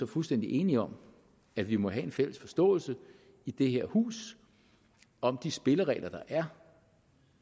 fuldstændig enige om at vi må have en fælles forståelse i det her hus om de spilleregler der er